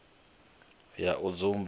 ya u sa dzumba na